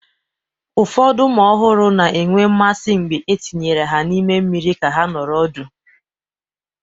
Ụfọdụ ụmụ ọhụrụ na-enwe mmasị mgbe etinyere ha n'ime mmiri ka ha nọrọ ọdụ.